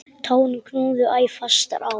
Tárin knúðu æ fastar á.